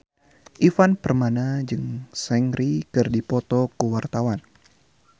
Ivan Permana jeung Seungri keur dipoto ku wartawan